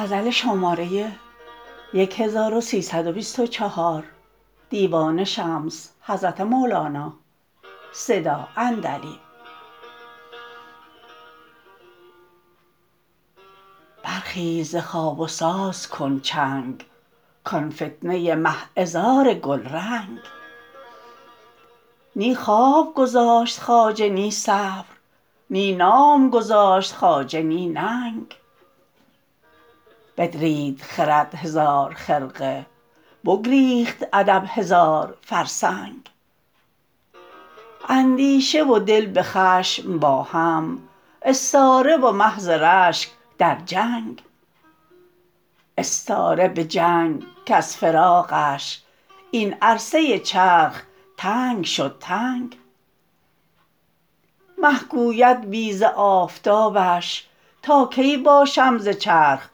برخیز ز خواب و ساز کن چنگ کان فتنه مه عذار گلرنگ نی خواب گذاشت خواجه نی صبر نی نام گذاشت خواجه نی ننگ بدرید خرد هزار خرقه بگریخت ادب هزار فرسنگ اندیشه و دل به خشم با هم استاره و مه ز رشک در جنگ استاره به جنگ کز فراقش این عرصه چرخ تنگ شد تنگ مه گوید بی ز آفتابش تا کی باشم ز چرخ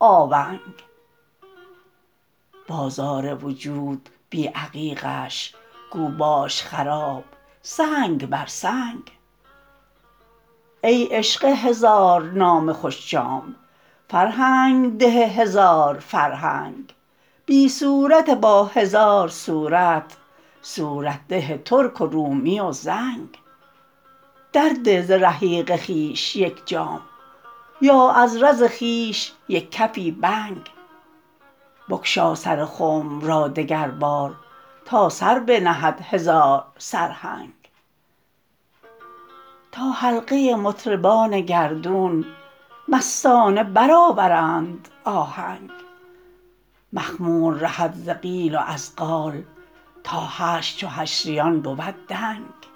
آونگ بازار وجود بی عقیقش گو باش خراب سنگ بر سنگ ای عشق هزارنام خوش جام فرهنگ ده هزار فرهنگ بی صورت با هزار صورت صورت ده ترک و رومی و زنگ درده ز رحیق خویش یک جام یا از رز خویش یک کفی بنگ بگشا سر خنب را دگربار تا سر بنهد هزار سرهنگ تا حلقه مطربان گردون مستانه برآورند آهنگ مخمور رهد ز قیل و از قال تا حشر چو حشریان بود دنگ